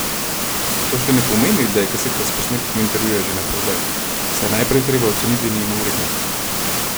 A to še ne pomeni, da je kaseta s posnetkom intervjuja že naprodaj, saj je najprej treba oceniti njeno vrednost.